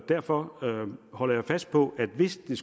derfor holder jeg fast på at hvis det